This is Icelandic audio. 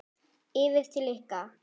Yfir til ykkar?